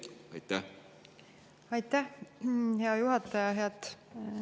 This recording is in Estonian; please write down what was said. Aitäh, hea juhataja!